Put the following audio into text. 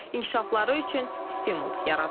İnkişafları üçün stimul yaradılır.